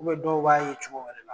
dɔw b'a ye cogo wɛrɛ la